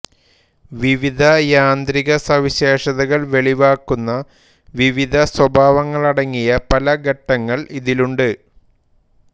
വിവിധ യാന്ത്രിക സവിശേഷതകൾ വെളിവാക്കുന്ന വിവിധ സ്വഭാവങ്ങളടങ്ങിയ പല ഘട്ടങ്ങൾ ഇതിലുണ്ട്